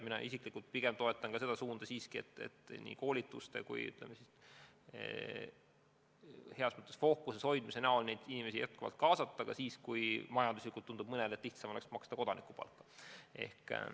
Mina isiklikult toetan seda suunda, et nii koolituste kui ka heas mõttes fookuses hoidmise abil püüda neid inimesi jätkuvalt kaasata, ka siis, kui majanduslikult tundub ehk lihtsam maksta kodanikupalka.